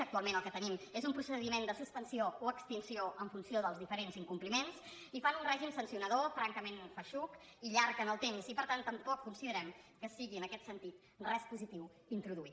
actualment el que tenim és un procediment de suspensió o extinció en funció dels diferents incompliments i fan un règim sancionador francament feixuc i llarg en el temps i per tant tampoc considerem que sigui en aquest sentit res positiu d’introduir